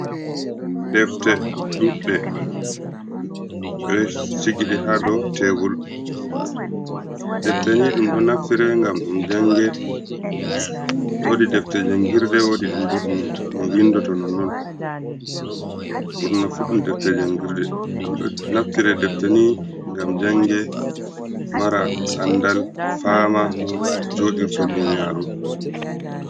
Ɗefte ɗuɗɗe. Beɗo sigi ɗe ha ɗow tebol. Ɗefte ni ɗum ɗo naftire ngam ɗum jange. Woɗi ɗefte jangirɗe wodi bo ɗum vinɗoto nonon. Burnafu ɗum defte jangirɗe. ɗum do naftire defteni ngam jange mara anɗal fama no joɗirto ɗuniyaru.